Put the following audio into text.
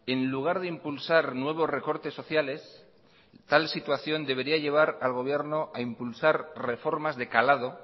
en lugar de impulsar nuevos recortes sociales tal situación debería llevar al gobierno a impulsar reformas de calado